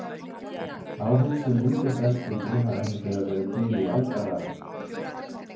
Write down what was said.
Áhöld sem líkjast eldspýtunni hafa hins vegar verið til í aldaraðir.